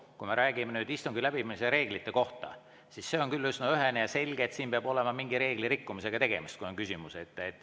Kui me räägime nüüd istungi läbiviimise reeglitest, siis see on küll üsna ühene ja selge, et peab olema tegemist mingi reegli rikkumisega, kui on küsimus.